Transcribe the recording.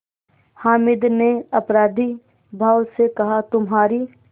हामिद ने अपराधीभाव से कहातुम्हारी